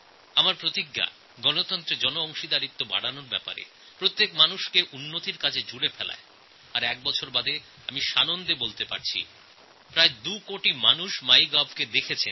গণতন্ত্রে জনগণের প্রত্যক্ষ অংশগ্রহণ আরও বাড়ানো প্রতিটি মানুষকে দেশের উন্নতির কাজে লাগানোর সংকল্প আমার আর আজ এক বছর বাদে এই কাজ করতে গিয়ে এটাই আমার আনন্দ যে প্রায় দুকোটি মানুষ মাইগভ পোর্টালটি দেখেছেন